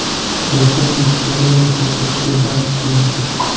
Rayhon Yigitali va Muqaddasga baxt tiladi.